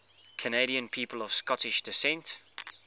canadian people of scottish descent